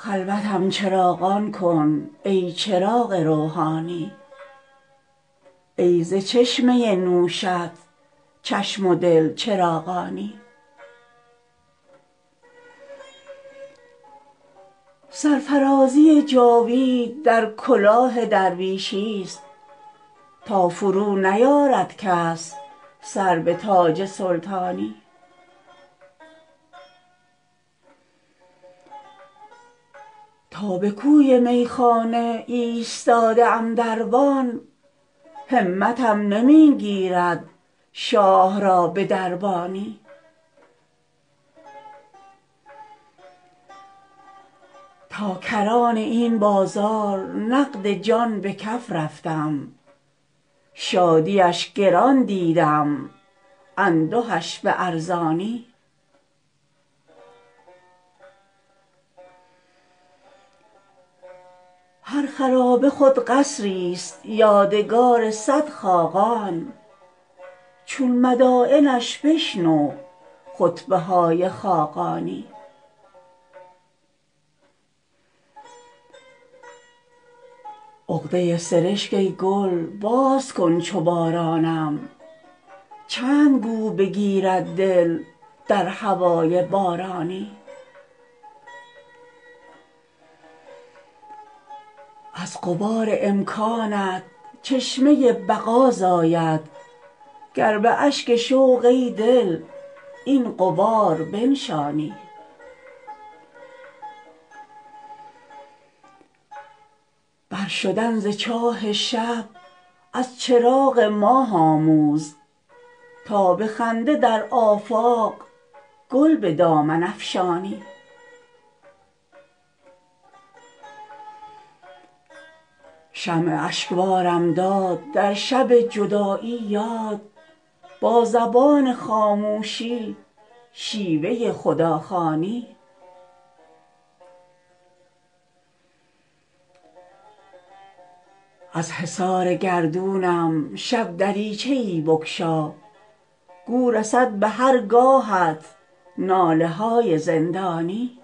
خلوتم چراغان کن ای چراغ روحانی ای ز چشمه نوشت چشم و دل چراغانی سرفرازی جاوید در کلاه درویشی است تا فرو نیارد کس سر به تاج سلطانی تا به کوی میخانه ایستاده ام دربان همتم نمی گیرد شاه را به دربانی بال همت و عشقم خود به بام عرش افشان تا فرشته رشک آرد بر مقام انسانی غیر شربت توفیق ای حکیم دانشمند نسخه ای به قانون نیست در شفای نادانی تا کران این بازار نقد جان به کف رفتم شادیش گران دیدم اندهش به ارزانی هر خرابه خود قصریست یادگار صد خاقان چون مداینش بشنو خطبه های خاقانی عقده سرشک ای گل باز کن چو بارانم چند گو بگیرد دل در هوای بارانی از غبار امکانت چشمه بقا زاید گر به اشک شوق ای دل این غبار بنشانی برشدن ز چاه شب از چراغ ماه آموز تا به خنده در آفاق گل به دامن افشانی شمع اشکبارم داد در شب جدایی یاد با زبان خاموشی شیوه خداخوانی از حصار گردونم شب دریچه ای بگشا گو رسد به خرگاهت ناله های زندانی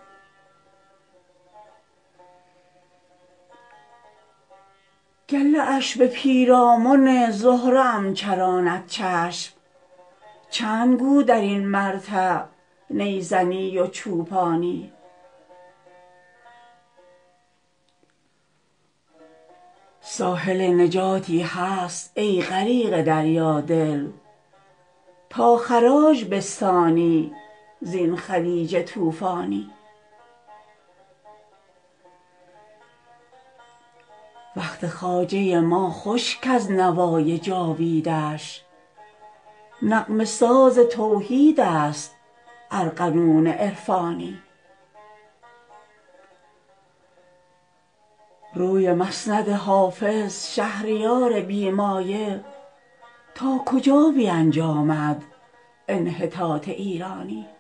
گله اش به پیرامن زهره ام چراند چشم چند گو در این مرتع نی زنی و چوپانی ساحل نجاتی هست ای غریق دریا دل تا خراج بستانی زین خلیج طوفانی وقت خواجه ما خوش کز نوای جاویدش نغمه ساز توحید است ارغنون عرفانی روی مسند حافظ شهریار بی مایه تا کجا بینجامد انحطاط ایرانی